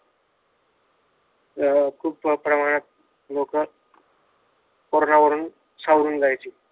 खूप लोक सावरून जायची